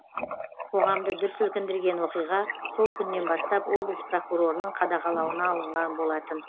қоғамды дүр сілкіндірген оқиға сол күннен бастап облыс прокурорының қадағалауына алынған болатын